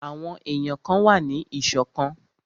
Àwọn èyàn kan wà ní ìṣọ̀kan.